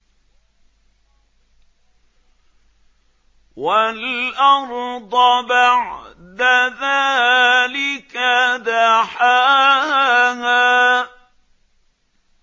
وَالْأَرْضَ بَعْدَ ذَٰلِكَ دَحَاهَا